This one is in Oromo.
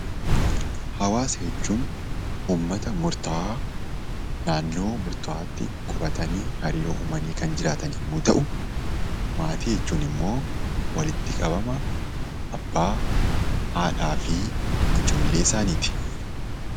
Hawaasa jechuun uummata murtaahaa naannoo murtaawaatti qubatanii hariirooo uumanii kan jirataan yommuu ta'u, maatii jechuun immoo walitti qabama abbaa, haadhaa fi ijoollee isaaniiti.